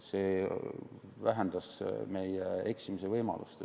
See vähendas meie eksimise võimalust.